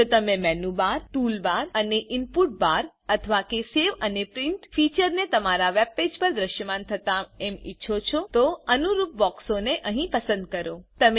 જો તમે menu bar tool bar અને ઈનપુટ બાર અથવા કે સેવ અને પ્રિન્ટ ફીચરને તમારા વેબ પેજ પર દ્રશ્યમાન થતા એમ ઈચ્છો છો તોઅનુરૂપ બોક્સોને અહી પસંદ કરો